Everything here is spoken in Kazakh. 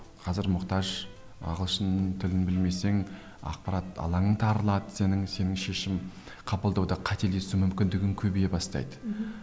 қазір мұқтаж ағылшын тілін білмесең ақпарат алаңың тарылады сенің сенің шешім қабылдауда қателесу мүмкіндігің көбейе бастайды мхм